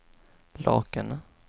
Lakene